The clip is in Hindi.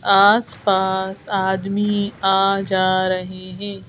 आस-पास आदमी आ जा रहे हैं।